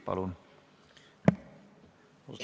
Palun!